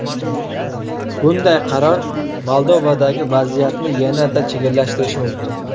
Bunday qaror Moldovadagi vaziyatni yanada chigallashtirishi mumkin”.